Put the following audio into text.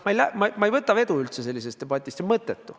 Ma ei võta üldse vedu, kui on selline debatt, see on mõttetu.